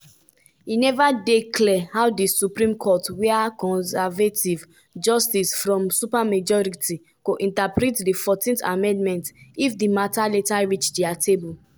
e neva dey clear how di supreme court wia conservative justices form supermajority go interpret di 14th amendment if di mata later reach dia table.